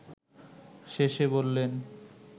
শেষে বললেন